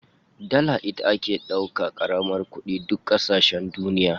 Dala ita ce ake dauka kamar kudin duk kasashen duniya